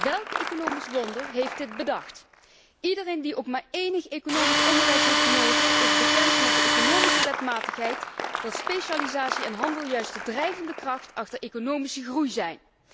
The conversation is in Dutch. Welk economisch wonder heeft dit bedacht? Iedereen die ook maar enig economisch onderwijs heeft genoten, is bekend met de economische wetmatigheid dat specialisatie en handel juist de drijvende kracht achter economische groei zijn.